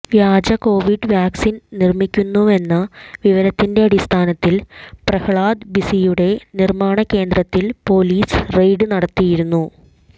വ്യാജ covid vaccine നിർമിക്കുന്നുവെന്ന വിവരത്തിന്റെ അടിസ്ഥാനത്തിൽ പ്രഹ്ലാദ് ബിസിയുടെ നിർമാണ കേന്ദ്രത്തിൽ പൊലീസ് റെയ്ഡ് നടത്തിയിരുന്നു